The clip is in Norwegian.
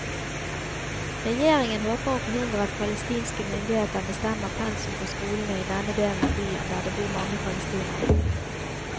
Regjeringen håper å forhindre at palestinske myndigheter bestemmer pensum på skolene i denne delen av byen der det bor mange palestinere.